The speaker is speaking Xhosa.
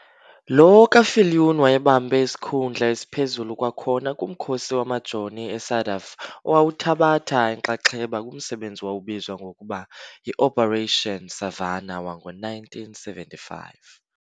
Lo ka-Viljoen wayebambe isikhundla esiphezulu kwakhona kumkhosi wamaJoni e-SADF owawuthabatha inxaxheba kumsebenzi owawubizwa ngokuba yi"Operation Savannah wango1975.